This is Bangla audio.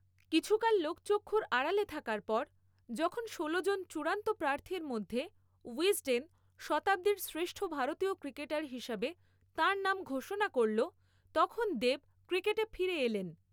কিছুকাল লোকচক্ষুর আড়ালে থাকার পর, যখন ষোলো জন চূড়ান্ত প্রার্থীর মধ্যে উইজডেন শতাব্দীর শ্রেষ্ঠ ভারতীয় ক্রিকেটার হিসাবে তাঁর নাম ঘোষণা করল, তখন দেব ক্রিকেটে ফিরে এলেন ।